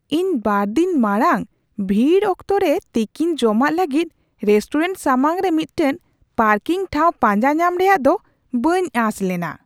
ᱤᱧ ᱒ ᱫᱤᱱ ᱢᱟᱲᱟᱝ ᱵᱷᱤᱲ ᱚᱠᱛᱚᱨᱮ ᱛᱤᱠᱤᱱ ᱡᱚᱢᱟᱜ ᱞᱟᱹᱜᱤᱫ ᱨᱮᱥᱴᱩᱨᱮᱱᱴ ᱥᱟᱢᱟᱝ ᱨᱮ ᱢᱤᱫᱴᱟᱝ ᱯᱟᱨᱠᱤᱝ ᱴᱷᱟᱶ ᱯᱟᱸᱡᱟ ᱧᱟᱢ ᱨᱮᱭᱟᱜ ᱫᱚ ᱵᱟᱹᱧ ᱟᱸᱥ ᱞᱮᱱᱟ ᱾